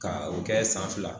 Ka o kɛ san fila